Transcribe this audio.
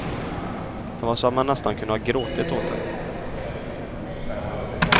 Det var så att man nästan kunde ha gråtit åt det.